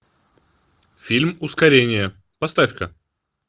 фильм ускорение поставь ка